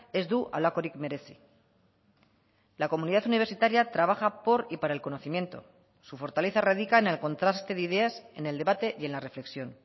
ez du halakorik merezi la comunidad universitaria trabaja por y para el conocimiento su fortaleza radica en el contraste de ideas en el debate y en la reflexión